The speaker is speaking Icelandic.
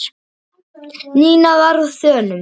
Nína var á þönum.